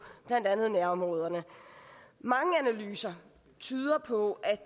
blandt andet nærområderne mange analyser tyder på at